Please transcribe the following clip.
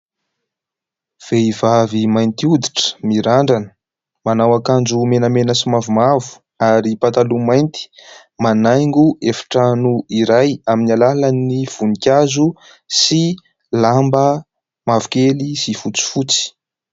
Vehivavy mainty hoditra mirandrana, manao akanjo menamena sy mavomavo ary pataloha mainty. Manaingo efitrano iray amin'ny alalan'ny voninkazo sy lamba mavokely sy fotsifotsy.